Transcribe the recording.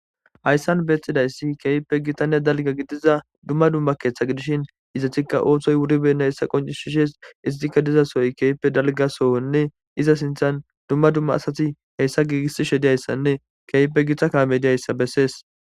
Hayssan beeththidayssi keyppe gitanne dalga gidiza dumma dumma keeththa gidishin izathikka ooththoy wuribenna hessa qoncishishes iztikka dizasooy keype dalgasowonne iza sinthan dumma dumma asati heyssa giigissi shediyayssanne keyppe githa kaamediayssa bessees.